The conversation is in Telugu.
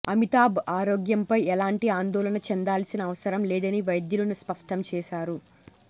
అమితాబ్ ఆరోగ్యంపై ఎలాంటి ఆందోళన చెందాల్సిన అవసరం లేదని వైద్యులు స్పష్టం చేశారు